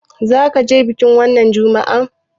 Za ka je bikin wannan Juma'ar?